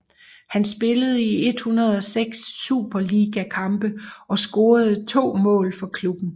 Han spillede 106 superligakampe og scorede to mål for klubben